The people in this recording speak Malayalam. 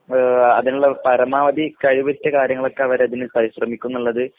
മ് ആഹ് അതിനുള്ള പരമാവധികഴിവുറ്റ കാര്യങ്ങളൊക്കെ അവരതിന് ശ്രമിക്കുന്നുള്ളത്